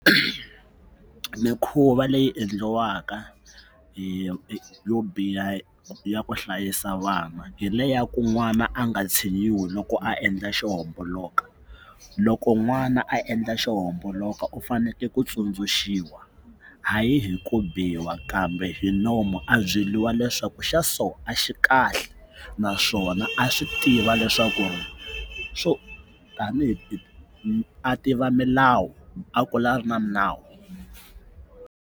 mikhuva leyi endliwaka yi yo biha ya ku hlayisa vana hi le ya ku n'wana a nga tshinyiwi loko a endla xo homboloka loko n'wana a endla xo homboloka u fanekele ku tsundzuxiwa hayi hi ku biwa kambe hi nomu a byeriwa leswaku xa so a xi kahle naswona a swi tiva leswaku ri swo tanihi a tiva milawu a kula a ri na minawu.